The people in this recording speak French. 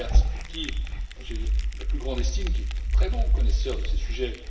Lamberts, pour qui j'ai la plus grande estime, et qui est un très bon connaisseur de ces sujets.